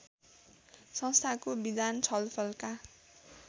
संस्थाको विधान छलफलका